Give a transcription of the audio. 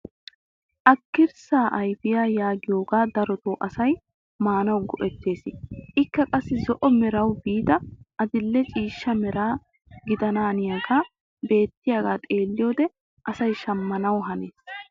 Akirssaa ayfiyaa yaagiyoogaa darotoo asay maanawu go"ettees. ikka qassi zo"o merawu biida adile ciishsha meraa gidananiyaagee beettiyaaga xeelliyoode asay shammanwu hanees.